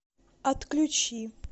отключи